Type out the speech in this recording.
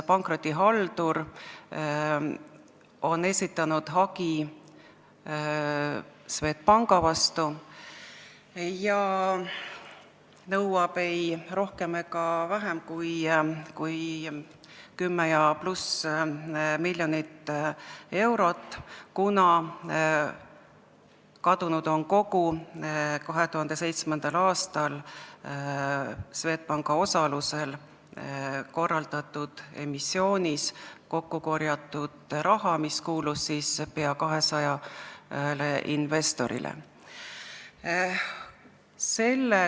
Pankrotihaldur on esitanud hagi Swedbanki vastu ja nõuab ei rohkem ega vähem kui 10+ miljonit eurot, kuna kadunud on kogu 2007. aastal Swedbanki osalusel korraldatud emissioonis kokkukorjatud raha, mis kuulus peaaegu 200 investorile.